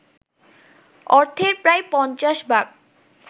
অর্থের প্রায় ৫০ ভাগ